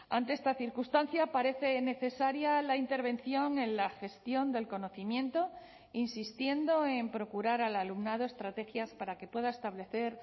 ante esta circunstancia parece necesaria la intervención en la gestión del conocimiento insistiendo en procurar al alumnado estrategias para que pueda establecer